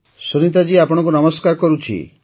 ସୁନୀତା ଜୀ ଆପଣଙ୍କୁ ନମସ୍କାର କରୁଛି